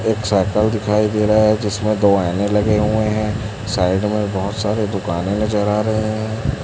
एक साइकल दिखाई दे रहा है जिसमें दो आइने लगे हुए हैं। साइड में बहोत सारे दुकाने नजर आ रहे हैं।